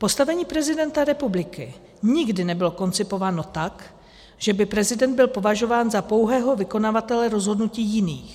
Postavení prezidenta republiky nikdy nebylo koncipováno tak, že by prezident byl považován za pouhého vykonavatele rozhodnutí jiných.